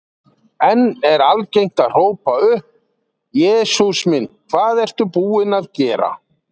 Enn er algengt að hrópa upp: Jesús minn, hvað ertu búinn að gera?